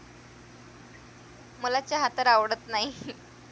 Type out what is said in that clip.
मला चहा तर आवडत नाही.